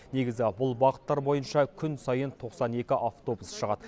негізі бұл бағыттар бойынша күн сайын тоқсан екі автобус шығады